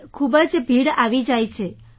sir ખૂબ જ ભીડ આવી જાય છે